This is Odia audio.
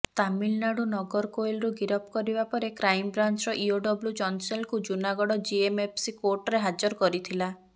ତାମିଲନାଡୁ ନଗରକୋଏଲରୁ ଗିରଫ କରିବା ପରେ କ୍ରାଇମବ୍ରାଞ୍ଚର ଇଓଡବ୍ଲ୍ୟୁ ଜନ୍ସେଲ୍ଙ୍କୁ ଜୁନାଗଡ଼ ଜେଏମ୍ଏଫ୍ସି କୋର୍ଟରେ ହାଜର କରିଥିଲା